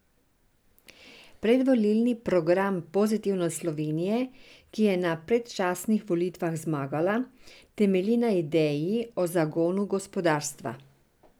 Predvolilni program Pozitivne Slovenije, ki je na predčasnih volitvah zmagala, temelji na ideji o zagonu gospodarstva.